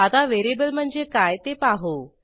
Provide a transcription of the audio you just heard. आता व्हेरिएबल म्हणजे काय ते पाहू